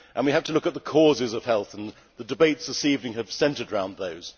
We have to look at the causes of ill health, and the debates this evening have centred round those.